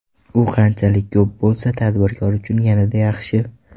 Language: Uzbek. U qanchalik ko‘p bo‘lsa, tadbirkor uchun yanada yaxshi.